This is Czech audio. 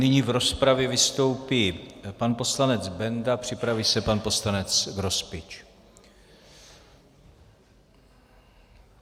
Nyní v rozpravě vystoupí pan poslanec Benda, připraví se pan poslanec Grospič.